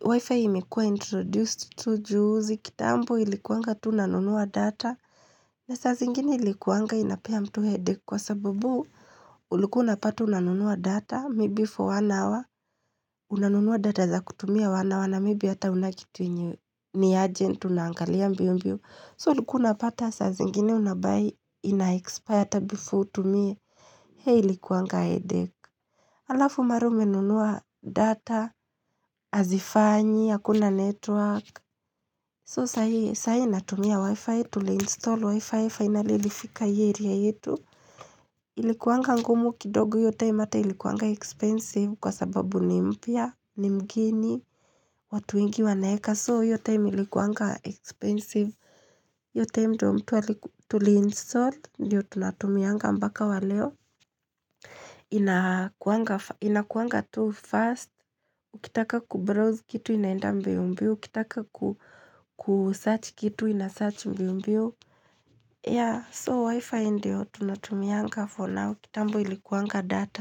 wi-fi imekuwa introduced tu juzi. Kitambo ilikuwanga tu nanunua data, na saa zingine ilikuwanga inapea mtu headache kwa sababu ulikwa unapata unanunua data, maybe for one hour. Unanunua data za kutumia one hour na, maybe hata huna kitu yenye, ni urgent unaangalia mbio mbio. So ulikuwa unapata saa zingine unabuy ina-expire hata before utumie. Ilikuwanga headache Alafu mara umenunua data, hazifanyi, hakuna network. So sahi natumia wifi, tuliinstall wifi, finally ilifika hii area yetu. Ilikuanga ngumu kidogo hiyo time hata ilikuwanga expensive kwa sababu ni mpya, ni mgeni, watu wengi wanaweka. So hiyo time ilikuwanga expensive. Hiyo time ndio tuliinstall, ndio tunatumianga mpaka wa leo Inakuwanga tu first, ukitaka kubrowse kitu inaenda mbio mbio, ukitaka kusearch kitu ina search mbio mbio ya so wifi ndio tunatumianga for now, kitambo ilikuwanga data.